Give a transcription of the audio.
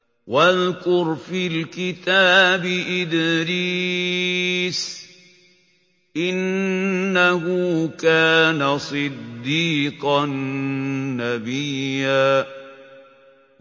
وَاذْكُرْ فِي الْكِتَابِ إِدْرِيسَ ۚ إِنَّهُ كَانَ صِدِّيقًا نَّبِيًّا